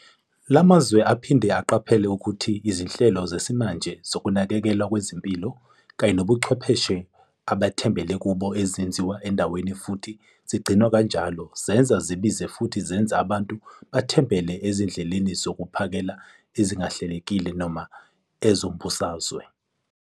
La mazwe aphinde aqaphela ukuthi izinhlelo zesimanje zokunakekelwa kwezempilo kanye nobuchwepheshe abathembele kubo azenziwa endaweni futhi zigcinwe kanjalo zenza zibize futhi zenze abantu bathembele ezindleleni zokuphakela ezingahlelekile noma ezombusazwe.